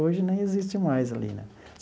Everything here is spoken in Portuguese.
Hoje nem existe mais ali, né?